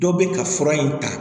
Dɔ bɛ ka fura in ta